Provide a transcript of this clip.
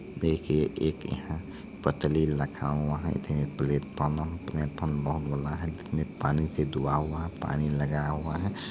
देखिए एक यहाँ पत्री रखा हुआ है प्लेटफार्म है प्लेटफार्म बहुत बड़ा है इसमें पानी से डूबा हुआ हैं पानी लगा हुआ है|